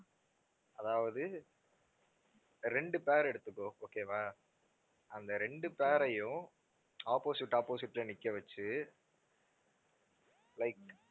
அதாவது ரெண்டு pair எடுத்துக்கோ okay வா அந்த ரெண்டு pair அயும் opposite, opposite ல நிக்க வச்சு like